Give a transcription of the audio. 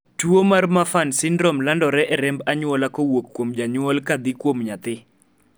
tuo mar Marfan syndrome landore e remb anyuola kowuok kuom janyuol kadhi kuom nyathi